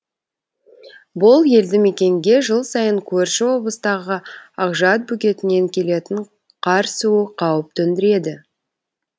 бұл елді мекенге жыл сайын көрші облыстағы ақжат бөгетінен келетін қар суы қауіп төндіреді